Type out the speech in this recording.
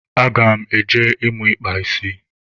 Aga m eje ịmụ ịkpa isi.